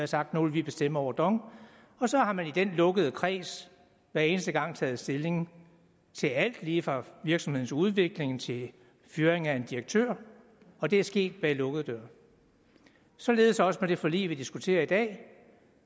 sagt nu vil vi bestemme over dong og så har man i denne lukkede kreds hver eneste gang taget stilling til alt lige fra virksomhedens udvikling til fyring af en direktør og det er sket bag lukkede døre således også med det forlig vi diskuterer i dag